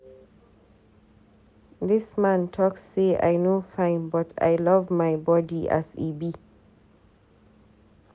Dis man talk say I no fine but I love my body as e be.